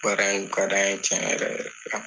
Baara in kun ka d'an ye tiɲɛ yɛrɛ yɛrɛ la.